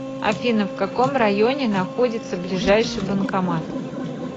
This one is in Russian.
афина в каком районе находится ближайший банкомат